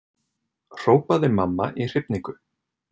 hrópaði mamma í hrifningu.